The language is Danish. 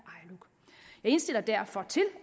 indstiller derfor til